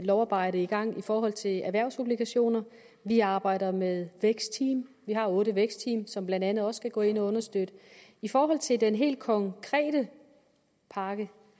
lovarbejde i gang i forhold til erhvervsobligationer vi arbejder med vækstteam vi har otte vækstteam som blandt andet også skal gå ind og understøtte i forhold til den helt konkrete pakke